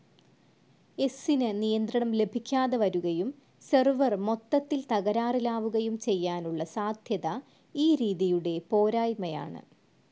എസ്സ്നു നിയന്ത്രണം ലഭിക്കാതെ വരുകയും സെർവർ മൊത്തത്തിൽ തകരാറിലാവുകയും ചെയ്യാനുള്ള സാധ്യത ഈ രീതിയുടെ പോരായ്മയാണ്.